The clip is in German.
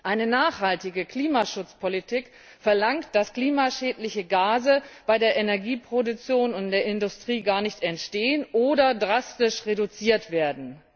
Eine nachhaltige Klimaschutzpolitik verlangt, dass klimaschädliche Gase bei der Energieproduktion und in der Industrie gar nicht entstehen oder drastisch reduziert werden!